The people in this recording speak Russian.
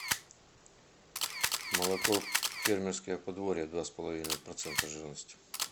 молоко фермерское подворье два с половиной процента жирности